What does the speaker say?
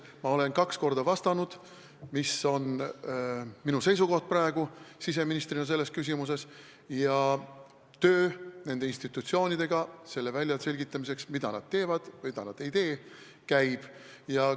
Ma olen kaks korda öelnud, mis on minu seisukoht siseministrina praegu selles küsimuses, ja töö nende institutsioonidega selle väljaselgitamiseks, mida nad teevad ja mida nad ei tee, käib.